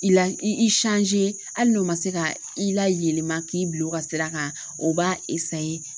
I la i hali n'o ma se ka i la yɛlɛma k'i bila u ka sira kan o b'a